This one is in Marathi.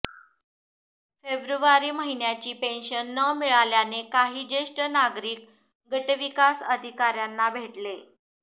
फेब्रुवारी महिन्याची पेन्शन न मिळाल्याने काही ज्येष्ठ नागरिक गटविकास अधिकाऱ्यांना भेटले